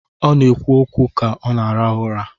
Ọ na-ekwu okwu ka ọ na-arahụ ụra.